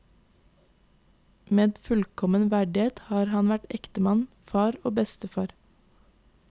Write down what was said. Med fullkommen verdighet har han vært ektemann, far og bestefar.